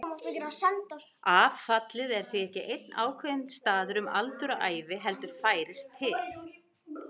Affallið er því ekki einn ákveðinn staður um aldur og ævi heldur færist til.